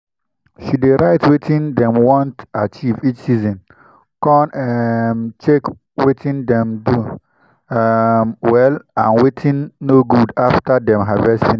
she dey write wetin dem want achieve each season con um check wetin dem do um well and wetin no good after dem harvest finish.